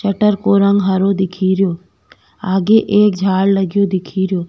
Shutter को रंग हरो दिखे रो आगे एक झाड़ लग्यो दिखे रो।